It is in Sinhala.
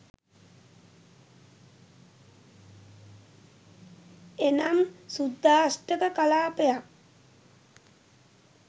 එනම් ශුද්ධාෂ්ටක කලාපයක්